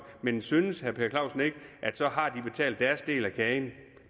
men synes herre per clausen ikke at del af kagen